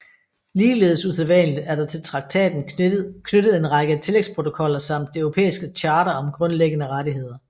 Ligeledes usædvanligt er der til traktaten knyttet en række tillægsprotokoller samt Det Europæiske Charter om Grundlæggende Rettigheder